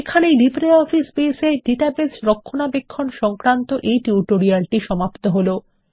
এই LibreOffice base এ database রক্ষণাবেক্ষণ সংক্রান্ত এই টিউটোরিয়ালটি সমাপ্ত হলো